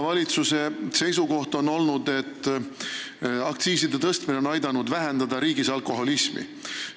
Valitsuse seisukohalt on aktsiiside tõstmine aidanud vähendada alkoholismi riigis.